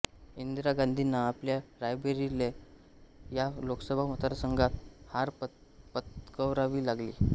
इंदिरा गांधींना आपल्या रायबरेली या लोकसभा मतदारसंघात हार पत्करावी लागली